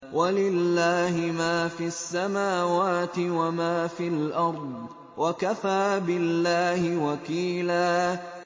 وَلِلَّهِ مَا فِي السَّمَاوَاتِ وَمَا فِي الْأَرْضِ ۚ وَكَفَىٰ بِاللَّهِ وَكِيلًا